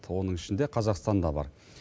оның ішінде қазақстан да бар